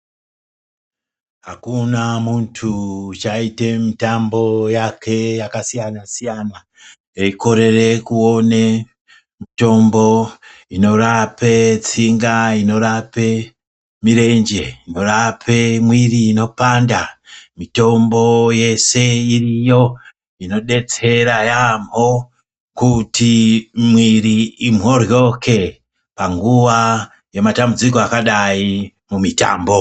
Akuna muntu uchaite mitambo yake yakasiyana siyana eikorere kuone mitombo inorape tsinga inorape mirenje inorepe mwiri inopanda mitombo yese iriyo inodetsera yaambo kuti mwiri imhoryoke panguwa yematambudziko akadai mumitambo.